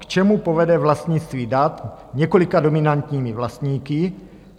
K čemu povede vlastnictví dat několika dominantními vlastníky?